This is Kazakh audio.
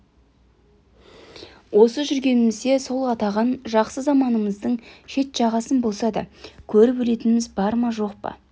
осы жүргенімізде сол атаған жақсы заманыңыздың шет-жағасын болса да көріп өлетініміз бар ма жоқ па